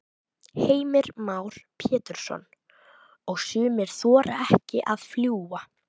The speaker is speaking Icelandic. Heimir Már Pétursson: Og sumir þora ekki að fljúga?